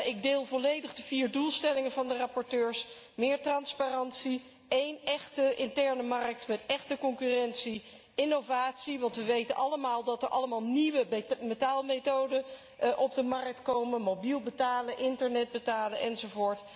Ik deel volledig de vier doelstellingen van de rapporteurs meer transparantie, één echte interne markt met echte concurrentie, innovatie, want wij weten allemaal dat er allerlei nieuwe betaalmethoden op de markt komen mobiel betalen, internet betalen, enz.,